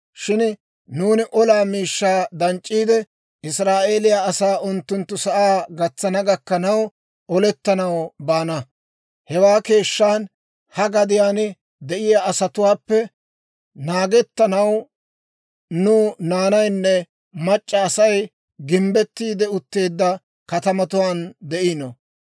Shin nuuni olaa miishshaa danc'c'iide, Israa'eeliyaa asaa unttunttu sa'aa gatsana gakkanaw olettanaw baana. Hewaa keeshshan, ha gadiyaan de'iyaa asatuwaappe naagettanaw, nu naanaynne mac'c'a Asay gimbbettiide utteedda katamatuwaan de'ino.